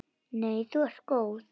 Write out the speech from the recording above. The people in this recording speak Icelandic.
Nei þú ert góð.